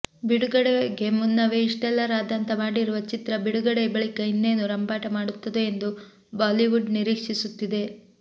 ಬಿಡುಗಡೆಗೆ ಮುನ್ನವೇ ಇಷ್ಟೆಲ್ಲಾ ರಾದ್ಧಾಂತ ಮಾಡಿರುವ ಚಿತ್ರ ಬಿಡುಗಡೆ ಬಳಿಕ ಇನ್ನೇನು ರಂಪಾಟ ಮಾಡುತ್ತದೋ ಎಂದು ಬಾಲಿವುಡ್ ನಿರೀಕ್ಷಿಸುತ್ತಿದೆ